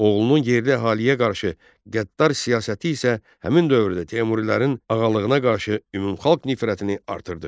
Oğlunun yerli əhaliyə qarşı qəddar siyasəti isə həmin dövrdə Teymurilərin ağalığına qarşı ümumi xalq nifrətini artırdı.